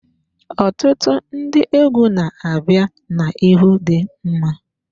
Ọtụtụ ndị egwu na-abịa n'ihu dị mma.